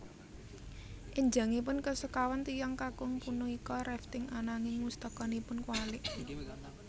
Enjangipun kasekawan tiyang kakung punika rafting ananging mustakanipun kuwalik